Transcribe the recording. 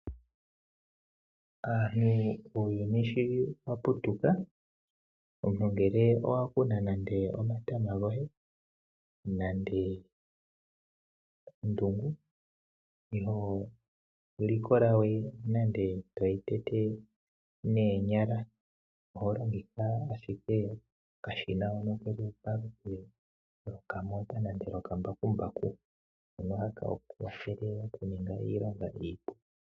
Uuyuni showaputuka ngele owakuna nande omatama goye .iholikolawe toying tete noonyala.